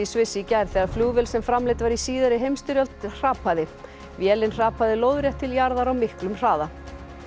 Sviss í gær þegar flugvél sem framleidd var í síðari heimsstyrjöld hrapaði vélin hrapaði lóðrétt til jarðar á miklum hraða